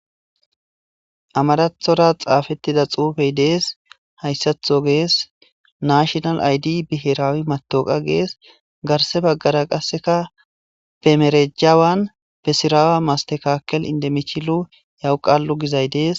Amarathora xappetida xuppey des. Haysatho ges. Nashinal aydi bihirawuy matoqa ges garsa bagara be mereja wani be sira mastekakel indimichilu gizay Des.